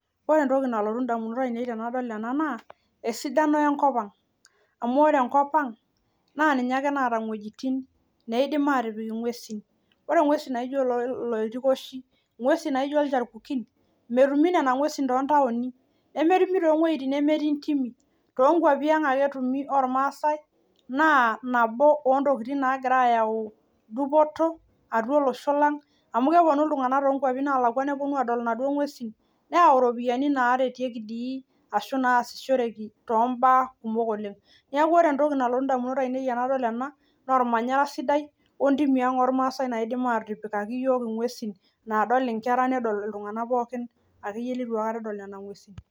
ore entoki nadamu nanu tenadol ena naa enkop ang amuu enkop ang ake naata intimi naidim nejing ingwesin metumoyu toontawoni amuu kebore olorere. toonkwapi ang ake ooormaasae etumieki naa kegira aayau dupoto toltunganak ooponu aadol amuu keyau intokiting sidan enkop ang. neeku ormanyara sidai nanu aitadamu ena baye tenadol lenkop ang oormaasae